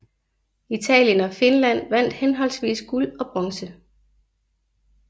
Italien og Finland vandt henholdsvis guld og bronze